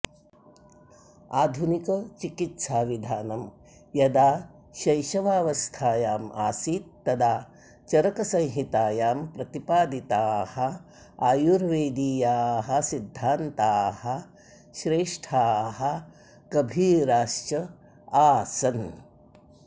आधुनिकचिकित्साविधानं यदा शैशवावस्थायाम् आसीत् तदा चरकसंहितायां प्रतिपादिताः आयुर्वेदीयाः सिद्धान्ताः श्रेष्ठाः गभीराश्च आसन्